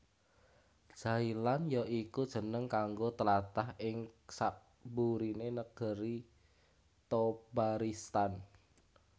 Jailan ya iku jeneng kanggo tlatah ing sakburiné Negri Thobaristan